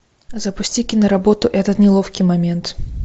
запусти киноработу этот неловкий момент